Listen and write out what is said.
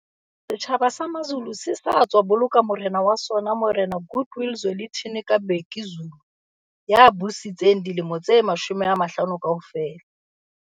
Setjhaba sa Mazulu se sa tswa boloka morena wa sona Morena Goodwill Zwelithini ka Bhekuzulu ya busitseng dilemo tse 50 kaofela.